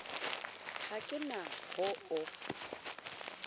ha ke na ho o